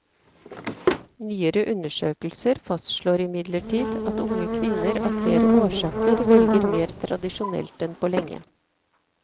Nyere undersøkelser fastslår imidlertid at unge kvinner av flere årsaker velger mer tradisjonelt enn på lenge.